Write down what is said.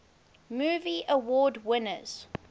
movie award winners